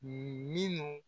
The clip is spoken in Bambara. Minnu